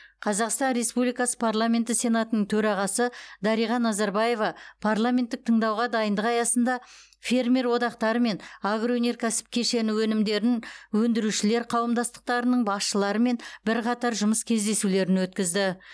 қазақстан республикасы парламенті сенатының төрағасы дариға назарбаева парламенттік тыңдауға дайындық аясында фермер одақтары мен агроөнеркәсіп кешені өнімдерін өндірушілер қауымдастықтарының басшыларымен бірқатар жұмыс кездесулерін өткізді